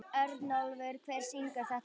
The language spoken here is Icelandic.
Örnólfur, hver syngur þetta lag?